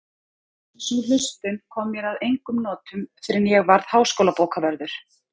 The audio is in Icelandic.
Sú hlustun kom mér að engum notum fyrr en ég varð háskólabókavörður